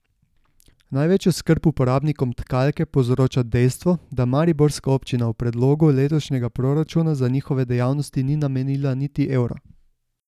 Največjo skrb uporabnikom Tkalke povzroča dejstvo, da mariborska občina v predlogu letošnjega proračuna za njihove dejavnosti ni namenila niti evra.